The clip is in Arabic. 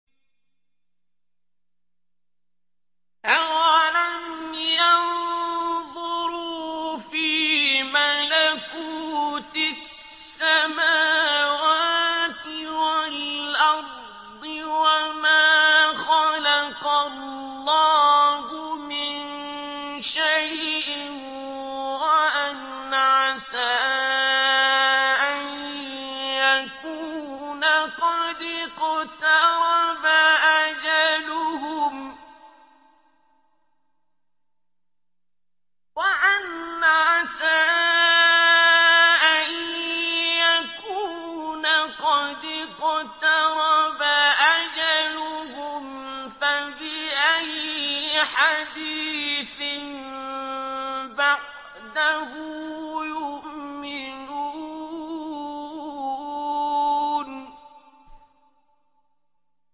أَوَلَمْ يَنظُرُوا فِي مَلَكُوتِ السَّمَاوَاتِ وَالْأَرْضِ وَمَا خَلَقَ اللَّهُ مِن شَيْءٍ وَأَنْ عَسَىٰ أَن يَكُونَ قَدِ اقْتَرَبَ أَجَلُهُمْ ۖ فَبِأَيِّ حَدِيثٍ بَعْدَهُ يُؤْمِنُونَ